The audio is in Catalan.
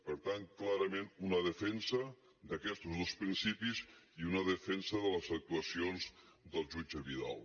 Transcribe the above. per tant clarament una defensa d’aquestos dos principis i una defensa de les actuacions del jutge vidal